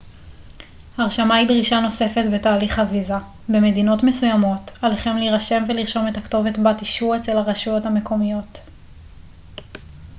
הרשמה היא דרישה נוספת בתהליך הוויזה במדינות מסוימות עליכם להירשם ולרשום את הכתובת בה תשהו אצל הרשויות המקומיות